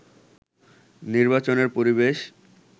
নির্বাচনের পরিবেশ